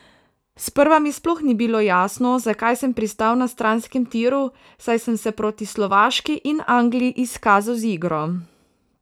Sprva mi sploh ni bilo jasno, zakaj sem pristal na stranskem tiru, saj sem se proti Slovaški in Angliji izkazal z igro.